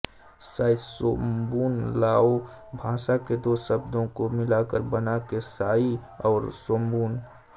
साइसोम्बून Lao भाषा के दो शब्दों को मिलाकर बना है साइ और सोम्बून